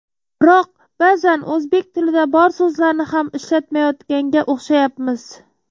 Biroq ba’zan o‘zbek tilida bor so‘zlarni ham ishlatmayotganga o‘xshayapmiz.